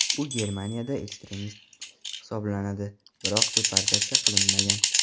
U Germaniyada ekstremist hisoblanadi, biroq deportatsiya qilinmagan.